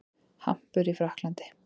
Hampur í Frakklandi.